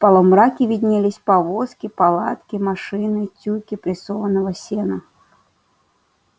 в полумраке виднелись повозки палатки машины тюки прессованного сена